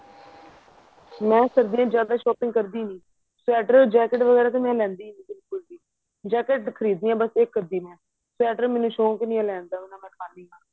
ਮੈਂ ਸਰਦੀਆਂ ਚ ਜਿਆਦਾ shopping ਕਰਦੀ ਨਹੀਂ sweater jacket ਵਗੇਰਾ ਤਾਂ ਮੈਂ ਲੈਂਦੀ ਨੀ jacket ਖਰੀਦ ਦੀ ਆ ਬਸ ਇੱਕ ਅਧੀ sweater ਮੈਨੂੰ ਸ਼ੌਂਕ ਨਹੀਂ ਹੈ ਲੈਣ ਦਾ ਨਾ ਮੈਂ ਪਾਨੀ ਆ